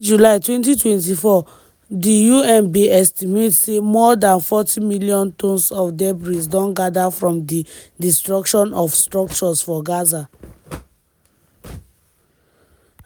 by early july 2024 di un bin estimate say more dan forty million tonnes of debris don gather from di destruction of structures for gaza.